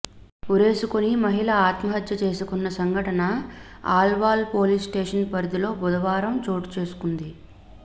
ఉరేసుకుని మహిళ ఆత్మహత్య చేసుకున్న సంఘటన అల్వాల్ పోలీస్ స్టేషన్ పరిధిలో బుధవారం చోటుచేసుకుంది